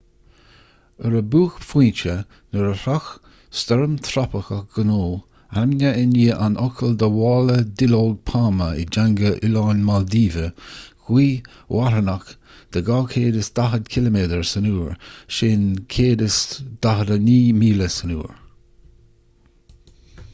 ar a buaicphointe shroich stoirm thrópaiceach gonu ainmnithe i ndiaidh an fhocail do mhála duilleog pailme i dteanga oileáin mhaildíve gaoth mharthanach de 240 ciliméadar san uair 149 míle san uair